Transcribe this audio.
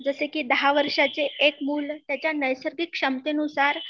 जसे कि दहा वर्षाचे एक मुल त्यांच्या नैसर्गिक क्षमतेनुसार